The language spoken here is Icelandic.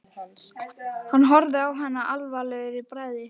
Hann horfir á hana alvarlegur í bragði.